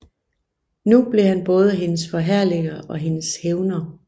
Nu blev han både hendes forherliger og hendes hævner